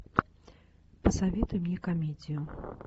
посоветуй мне комедию